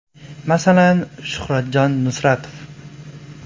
Masalan, Shuhratjon Nusratov.